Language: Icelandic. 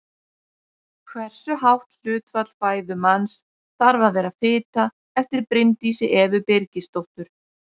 Hversu hátt hlutfall fæðu manns þarf að vera fita eftir Bryndísi Evu Birgisdóttur.